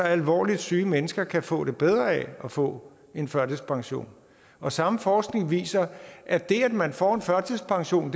alvorligt syge mennesker kan få det bedre af at få en førtidspension og samme forskning viser at det at man får en førtidspension